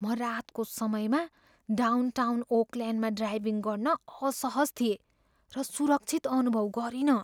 म रातको समयमा डाउनटाउन ओकल्यान्डमा ड्राइभिङ गर्न असहज थिएँ र सुरक्षित अनुभव गरिनँ।